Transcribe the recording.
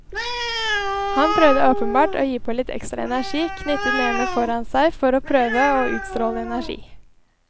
Han prøvde åpenbart å gi på litt ekstra energi, knyttet nevene foran seg for å prøve å utstråle energi.